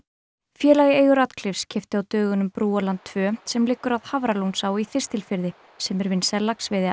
félag í eigu Ratcliffes keypti á dögunum tveggja sem liggur að Hafralónsá í Þistilfirði sem er vinsæl laxveiðiá